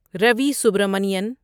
Ravi Subramanian